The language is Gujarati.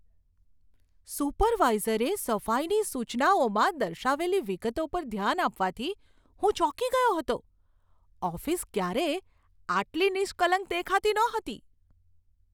સુપરવાઇઝરે સફાઈની સૂચનાઓમાં દર્શાવેલી વિગતો પર ધ્યાન આપવાથી હું ચોંકી ગયો હતો. ઓફિસ ક્યારેય આટલી નિષ્કલંક દેખાતી નહોતી!